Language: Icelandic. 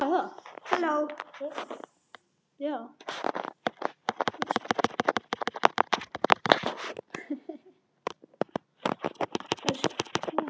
kæri, kæra, kæru